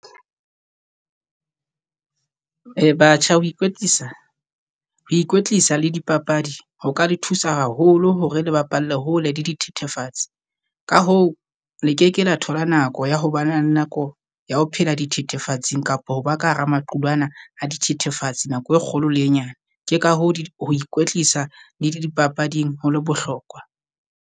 Ee batjha ho ikwetlisa ho ikwetlisa le dipapadi ho ka le thusa haholo hore le bapalle hole le dithethefatsi, ka hoo le keke la thola nako ya ho bana nako ya ho phela dithethefatsing, kapa ho ba ka hara maqulwana a dithethefatsi nako e kgolo le e nyane. Ke ka hoo ho ikwetlisa le dipapading ho le bohlokwa.